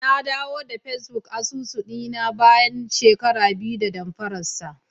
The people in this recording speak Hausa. Nadawo da Facebook asusu dina bayan shekara biyu da damfararsa.